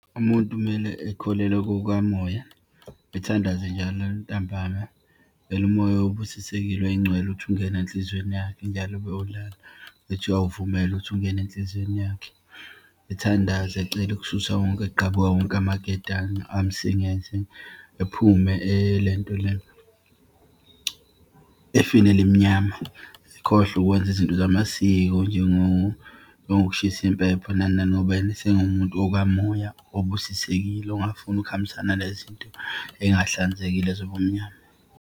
Umuntu kumele ekholelwa kukamoya, ethandaze njalo ntambama ecele umoya obusisekile oyingcwele ukuthi ungene enhlizweni yakhe, njalo uma eyolala, ethi uyawuvumela ukuthi ungene enhlizweni yakhe. Ethandaza ecele ukususa wonke, kugqabuke wonke amaketange amsingethe, ephume elento le, efini elimnyama. Ekhohlwe ukwenza izinto zamasiko njengokushisa impepho nani nani, ngoba yena esengumuntu okamoya obusisekile ongafuni ukuhambisana nale zinto eyingahlanzekile zobumnyama.